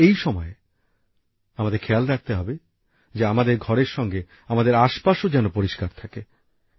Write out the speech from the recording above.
কিন্তু এই সময়ে আমাদের খেয়াল রাখতে হবে যে আমাদের ঘরের সঙ্গে আমাদের আশপাশও যেন পরিষ্কার থাকে